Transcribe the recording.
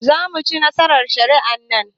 Zamuci nasarar shari'ar nan